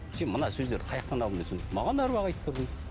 сен мына сөздерді қаяақтан алдың десем маған да аруақ айтып тұр дейді